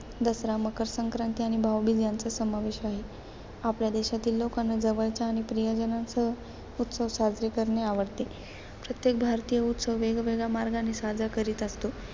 दसरा, मकरसंक्रांती आणि भाऊबीज यांचा समावेश आहे. आपल्या देशातील लोकांना जवळच्या आणि प्रियजनांसह उत्सव साजरे करणे आवडते. प्रत्येक भारतीय उत्सव वेगवेगळ्या मार्गाने साजरा करीत असतो.